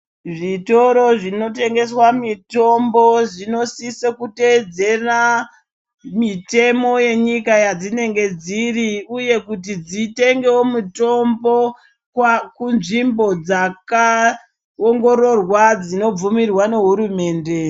Zvitoro zvinotengeswa mitombo zvinosise kuteedzera mitemo yenyika yadzinenga dziri uye kuti dzitengewo mitombo kunzvimbo dzakaongororwa dzinobvumirwa nehurumende .